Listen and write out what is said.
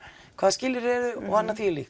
hvaða skilyrði eru og annað